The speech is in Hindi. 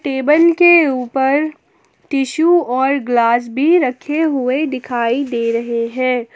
टेबल के ऊपर टिशु और ग्लास भी रखे हुए दिखाई दे रहे हैं।